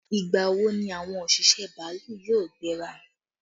Ìgbà wo ni àwọn òṣìṣẹ́ bàálù yóò gbéra?